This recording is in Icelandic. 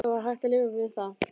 Það var hægt að lifa við það.